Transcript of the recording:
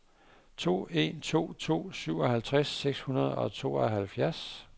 to en to to syvoghalvtreds seks hundrede og tooghalvfjerds